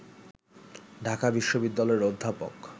ঢাকা বিশ্ববিদ্যালয়ের অধ্যাপক